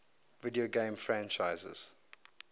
video game franchises